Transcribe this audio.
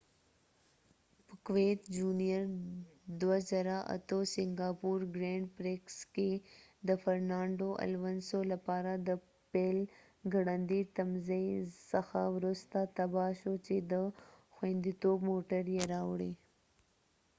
پکویت جونیئر د ۲۰۰۸ سینګاپور ګرينډ پريکس کې د فرنانډو الونسو لپاره د پیل ګړندي تمځای څخه وروسته تباه شو، چې د خوندیتوب موټر یې راوړی